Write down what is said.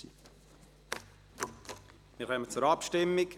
Wir kommen zur Abstimmung.